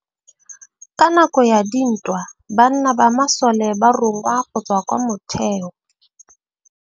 Ka nakô ya dintwa banna ba masole ba rongwa go tswa kwa mothêô.